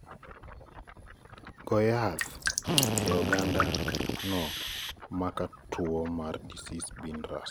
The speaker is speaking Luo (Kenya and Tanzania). go yadh deltramethrin kod bifenthrin e oganda mo maka twuo mar disease bean rust.